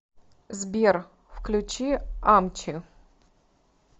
сбер включи амчи